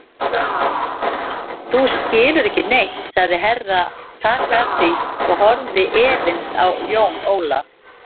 Þú skilur ekki neitt, sagði Herra Takashi og horfði efins á Jón Ólaf.